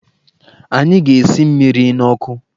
Anyị ga-esi mmiri n'ọkụ.